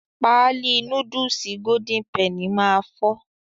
Páálí núdùùsì "Golden Penny" máa fọ́